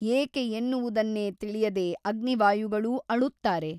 ಏಕೆ ಎನ್ನುವುದನ್ನೇ ತಿಳಿಯದೆ ಅಗ್ನಿವಾಯುಗಳೂ ಅಳುತ್ತಾರೆ.